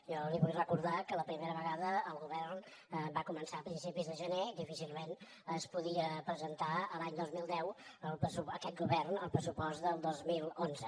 jo li vull recordar que la primera vegada el govern va començar a principis de gener difícilment podia presentar l’any dos mil deu aquest govern el pressupost del dos mil onze